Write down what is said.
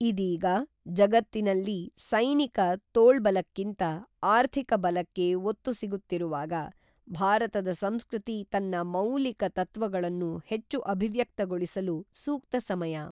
ಇದೀಗ, ಜಗತ್ತಿನಲ್ಲಿ ಸೈನಿಕ ತೋಳ್ಬಲಕ್ಕಿಂತ ಆರ್ಥಿಕ ಬಲಕ್ಕೆ ಒತ್ತು ಸಿಗುತ್ತಿರುವಾಗ ಭಾರತದ ಸಂಸ್ಕೃತಿ ತನ್ನ ಮೌಲಿಕ ತತ್ವಗಳನ್ನು ಹೆಚ್ಚು ಅಭಿವ್ಯಕ್ತಗೊಳಿಸಲು ಸೂಕ್ತ ಸಮಯ.